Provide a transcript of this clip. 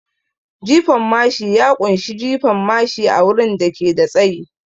Jifan mashi ya kunshi jefa mashi a wurin da ke da tsayi